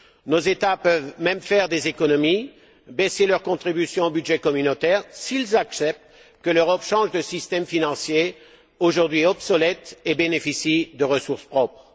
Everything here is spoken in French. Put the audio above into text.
Nos États peuvent même faire des économies, baisser leur contribution au budget communautaire, s'ils acceptent que l'Europe change de système financier, aujourd'hui obsolète, et bénéficie de ressources propres.